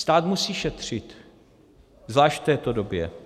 Stát musí šetřit, zvlášť v této době.